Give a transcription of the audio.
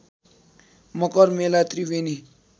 Makar Mela Triveni